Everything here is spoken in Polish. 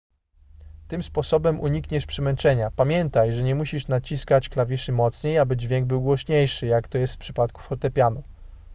tym sposobem unikniesz przemęczenia pamiętaj że nie musisz naciskać klawiszy mocniej aby dźwięk był głośniejszy jak to jest w przypadku fortepianu